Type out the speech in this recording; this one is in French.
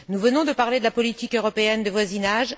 Nous venons de parler de la politique européenne de voisinage.